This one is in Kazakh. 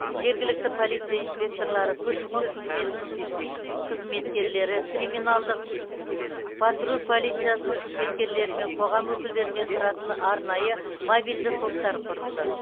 жергілікті полиция инспекторлары көші қон қызметінің қызметкерлері криминалдық патруль полиция қызметкерлері мен қоғам өкілдерінен тұратын арнайы мобильді топтар құрылды